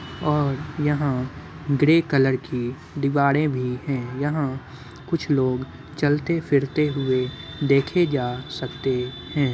और यहाँ grey colour की दीवारें भी हैं। यहाँ कुछ लोग चलते-फिरते हुए देखे जा सकते हैं।